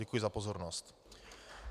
Děkuji za pozornost.